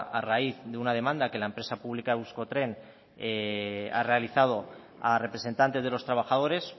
a raíz de una demanda que la empresa pública euskotren ha realizado a representantes de los trabajadores